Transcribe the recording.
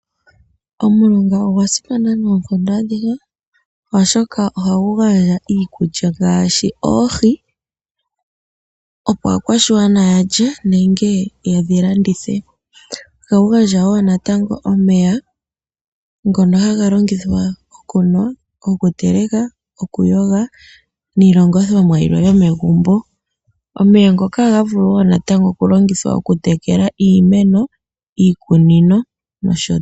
Omulonga ogwa simana noonkondo adhihe, oshoka ohagu gandja iikulya ngaashi oohi, opo aakwashigwana yalye nenge ye dhi landithe. Ohagu gandja wo natango omeya ngoka haga longithwa okunwa, okuteleka, okuyoga, niilongithomwa yilwe yomegumbo. Omeya ngoka ohaa vulu wo natango okulongithwa okutekela iimeno, iikunino, nosho tuu.